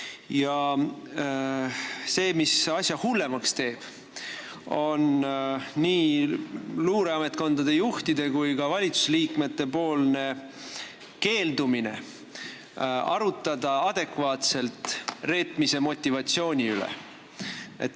Asja teeb veel hullemaks see, et nii luureametkondade juhid kui ka valitsusliikmed keelduvad adekvaatselt arutamast reetmise motivatsiooni üle.